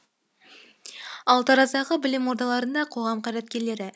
ал тараздағы білім ордаларында қоғам қайраткерлері